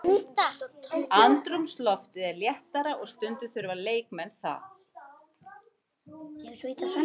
Andrúmsloftið er léttara og stundum þurfa leikmenn það.